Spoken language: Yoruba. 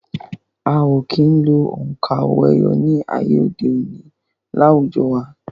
A ò kí ń lo òǹkà owó-ẹyọ ní ayé òde òni láwùjọ wa